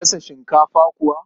Za a iya gasa shinkafa kuwa?